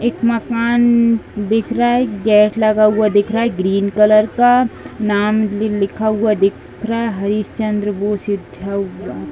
एक मकान दिख रहा है। गेट लगा हुवा दिख रहा है ग्रीन कलर का। नाम भी लिखा हुवा दिख रहा है। हरीशचंद्र बोस उद्यान --